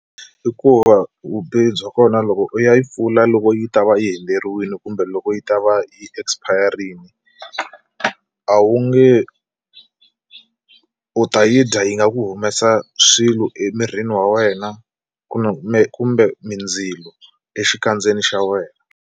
Hikuva vubihi bya kona loko u ya yi pfula loko yi ta va yi hundzeriwile kumbe loko yi ta va hi expire-ini a wu nge u ta yi dya yi nga ku humesa swilo emirini wa wena kumbe kumbe mindzilo exikandzeni xa wena.